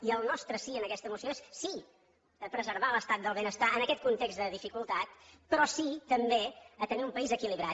i el nostre sí en aquesta moció és sí a preservar l’estat del benestar en aquest context de dificultat però sí també a tenir un país equilibrat